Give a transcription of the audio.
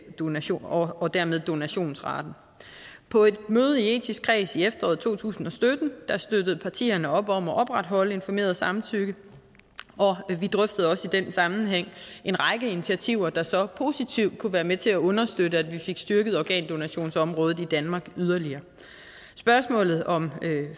donation og dermed øge donationsraten på et møde i etisk kreds i efteråret to tusind og sytten støttede partierne op om at opretholde informeret samtykke og vi drøftede også i den sammenhæng en række initiativer der så positivt kunne være med til at understøtte at vi fik styrket organdonationsområdet i danmark yderligere spørgsmålet om